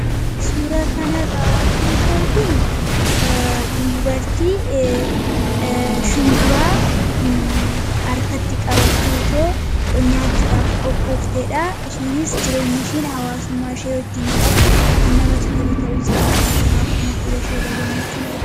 suura kanarraa wanti nuta arginu dubartii shumburaa arkatti qabatteetoo nyaachuudhaaf qophoofteedha shiinis jireenyishiin hawaasummaa ishee hojjiin qabdu kan namatti tulu ta'usaa argina akkuma fuula ishee rra gammachuunare